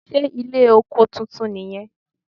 Ṣé ilé oko titun nì yan